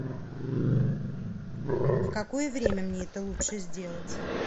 в какое время мне это лучше сделать